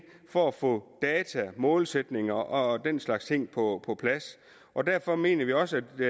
for at få data målsætninger og den slags ting på på plads og derfor mener vi også det